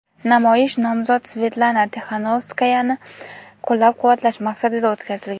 Namoyish nomzod Svetlana Tixanovskayani qo‘llab-quvvatlash maqsadida o‘tkazilgan.